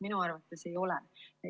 Minu arvates ei ole.